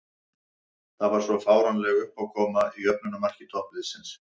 Það var svo fáránleg uppákoma í jöfnunarmarki toppliðsins.